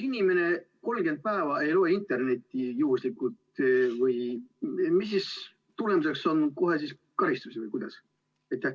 Kui inimene 30 päeva juhuslikult ei kasuta internetti, kas siis tulemuseks on kohe karistus või kuidas?